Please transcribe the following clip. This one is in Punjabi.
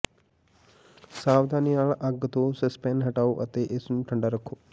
ਸਾਵਧਾਨੀ ਨਾਲ ਅੱਗ ਤੋਂ ਸੈਸਪੈਨ ਹਟਾਓ ਅਤੇ ਇਸ ਨੂੰ ਠੰਡਾ ਰੱਖੋ